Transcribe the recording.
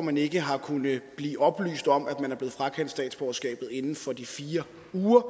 man ikke har kunnet blive oplyst om at man er blevet frakendt statsborgerskabet inden for de fire uger